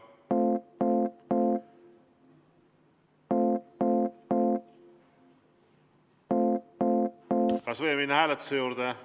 Kas võime minna hääletuse juurde?